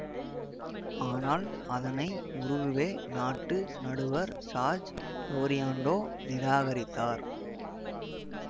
ஆனால் அதனை உருகுவே நாட்டு நடுவர் ஜார்ஜ் லோரியான்டோ நிராகரித்தார்